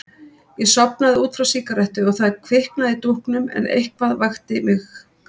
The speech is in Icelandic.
Ég sofnaði út frá sígarettu og það kviknaði í dúknum en eitthvað vakti mig.